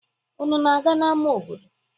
Unu na-aga n'ama obodo?